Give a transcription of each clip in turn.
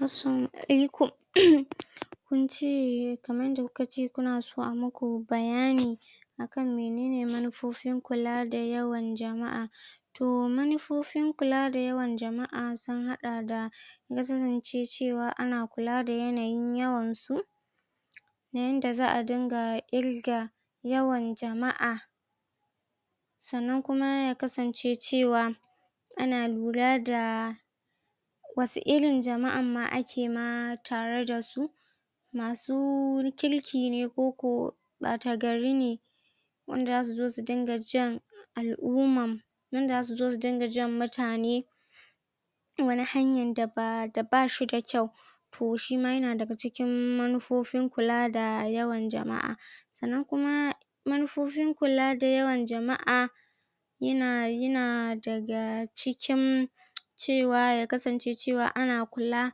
Assalamu alaikum Kun ce, kamar yanda ku ka ce kuna son a muku bayani kan minene manufofin kula da yawan jama'a. To manufofin kula da yawan jama'a sun haɗa da; ya kasance cewa ana kula da yanayin yawan su. Na yanda za'a dinga ƙirga yawan jama'a. Sannan kuma ya kasance cewa ana lura da wasu irin jama'ar ma ake ma tare da su. Masu kirki ne ko ko ɓata gari ne. Wanda za su zo dinga jan al'umma, wanda za su zo su dinga jan mutane wani hanyan da ba, da ba shi da kyau. To shima ya na daga cikin manufofin kula da yawan jama'a. Sannan kuma manufofin kula da yawan jama'a ya na, ya na daga cikin cewa, ya kasance cewa ana kula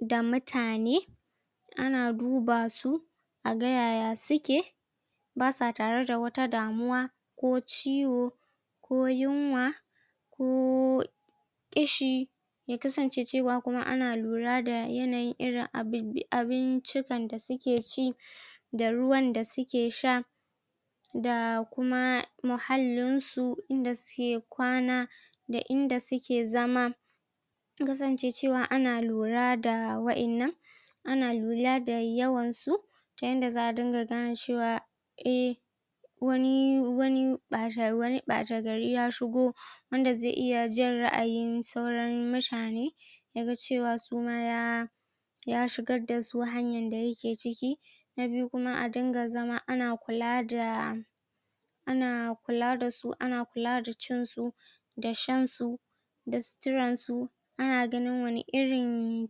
da mutane ana duba su a ga yaya su ke. Ba sa tare da wata damuwa ko ciwo, ko yunwa, ko ƙishi. Ya kasance cewa kuma ana lura da yanayin irin abi abincika da suke ci da ruwan da su ke sha da kuma muhallin su, inda suke kwana, da inda suke zama. Ya kasance cewa ana lura da waƴannan. Ana lura da yawan su ta yanda za'a dinga gane cewa eh wani, wani ɓata, wani ɓata gari ya shigo wanda zai iya jan ra'ayin sauran mutane ya ga cewa su ma ya ya shigar da su hanyan da ya ke ciki. Na biyu kuma a dinga zama ana kula da ana kula da su, ana kula da cinsu da shan su da sitiran su ana ganin wane irin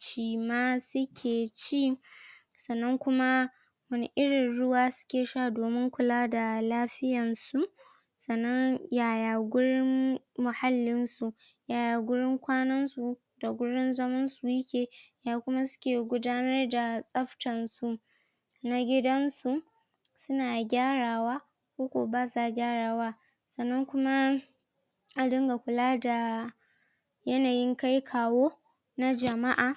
cima suke ci. Sannan kuma wane irin ruwa suke sha domin kula da lafiyan su. Sannan yaya gurin muhallin su, yaya gurin kwanan su, yaya gurin zaman su ya ke. Ya kuma su ke gudanar da tsaftan su. Na gidan su, su na gyarawa ko ko ba sa gyarawa. Sannan kuma a dinga kula da yanayin kai-kawo na jama'a.